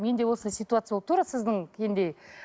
менде осындай ситуация болды тура